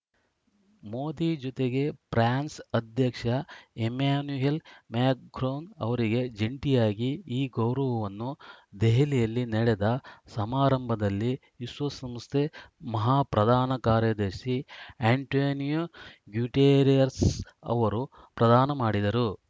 ಮೋದಿ ಜತೆಗೆ ಫ್ರಾನ್ಸ್‌ ಅಧ್ಯಕ್ಷ Emmanuel Macron ಅವರಿಗೆ ಜಂಟಿಯಾಗಿ ಈ ಗೌರವವನ್ನು ದೆಹಲಿಯಲ್ಲಿ ನಡೆದ ಸಮಾರಂಭದಲ್ಲಿ ವಿಶ್ವಸಂಸ್ಥೆ ಮಹಾಪ್ರಧಾನ ಕಾರ್ಯದರ್ಶಿ ಆ್ಯಂಟೋನಿಯೋ ಗ್ಯುಟೆರಸ್‌ ಅವರು ಪ್ರದಾನ ಮಾಡಿದರು